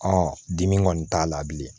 dimi kɔni t'a la bilen